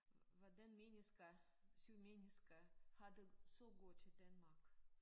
Hvordan mennesker syge mennesker har det så godt i Danmark